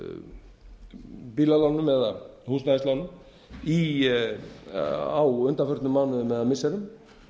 af bílalánum eða húsnæðislánum á undanförnum árum eða missirum og